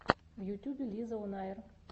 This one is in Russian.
в ютюбе лизаонайр